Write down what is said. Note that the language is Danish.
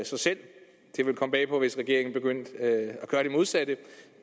sig selv det ville komme bag på mig hvis regeringen begyndte at gøre det modsatte